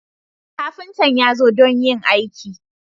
Kafintan ya zo don yin aikin.